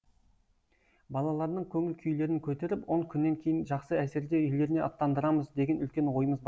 балалардың көңіл күйлерін көтеріп он күннен кейін жақсы әсерде үйлеріне аттандырамыз деген үлкен ойымыз бар